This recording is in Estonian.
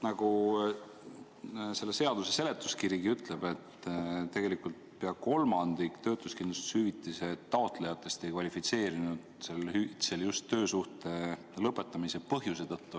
Nagu selle seaduse seletuskirigi ütleb, tegelikult pea kolmandik töötuskindlustushüvitise taotlejatest ei kvalifitseerunud sellele hüvitisele just töösuhte lõpetamise põhjuse tõttu.